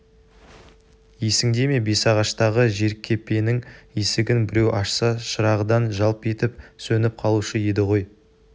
есіңде ме бесағаштағы жеркепенің есігін біреу ашса шырағдан жалп етіп сөніп қалушы еді ғой